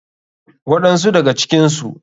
Waɗan su daga cikinsu.